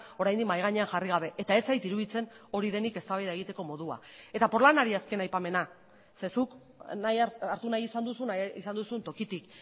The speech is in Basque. oraindik mahai gainean jarri gabe eta ez zait iruditzen hori denik eztabaida egiteko modua eta porlanari azken aipamena ze zuk hartu nahi izan duzu nahi izan duzun tokitik